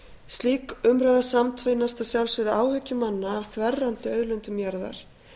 slík umræða samtvinnast að sjálfsögðu áhyggjum manna af þverrandi auðlindum jarðar